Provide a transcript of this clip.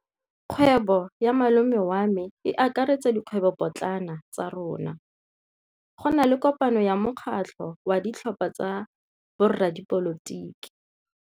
Kgwêbô ya malome wa me e akaretsa dikgwêbôpotlana tsa rona. Go na le kopanô ya mokgatlhô wa ditlhopha tsa boradipolotiki.